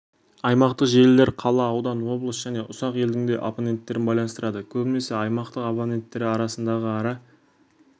аймақтық желілер қала аудан облыс және ұсақ елдің де абоненттерін байланыстырады көбінесе аймақтық абоненттері арасындағы ара